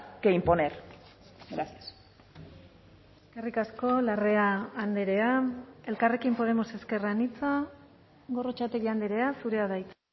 que imponer gracias eskerrik asko larrea andrea elkarrekin podemos ezker anitza gorrotxategi andrea zurea da hitza